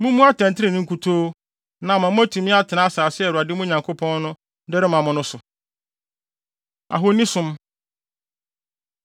Mummu atɛntrenee nkutoo, na ama moatumi atena asase a Awurade, mo Nyankopɔn no, de rema mo no so. Ahonisom